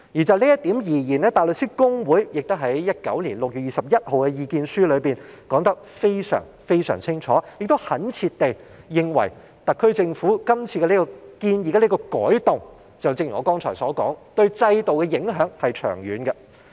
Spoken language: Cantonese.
就這一點，大律師公會在2019年6月21日的意見書中說得非常清楚，懇切地指出特區政府今次建議的改動，就正如我剛才所說，對制度的影響是長遠的。